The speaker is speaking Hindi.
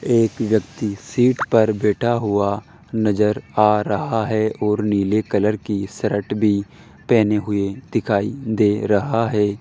एक व्यक्ति सीट पर बैठा हुआ नजर आ रहा है और नीले कलर की शर्ट भी पहने हुए दिखाई दे रहा है।